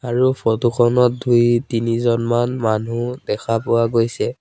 আৰু ফটো খনত দুই তিনিজনমান মানুহ দেখা পোৱা গৈছে।